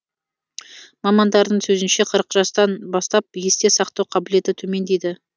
мамандардың сөзінше қырық жастан бастап есте сақтау қабілеті төмендейді